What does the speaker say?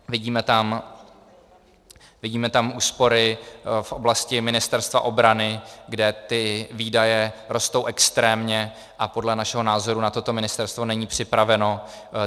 Vidíme tam úspory v oblasti Ministerstva obrany, kde ty výdaje rostou extrémně, a podle našeho názoru na toto Ministerstvo není připraveno.